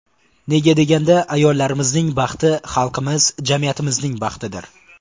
Nega deganda, ayollarimizning baxti xalqimiz, jamiyatimizning baxtidir”.